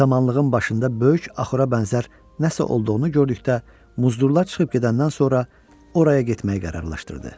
Samanlığın başında böyük axura bənzər nəsə olduğunu gördükdə muzdurlar çıxıb gedəndən sonra oraya getməyi qərarlaşdırdı.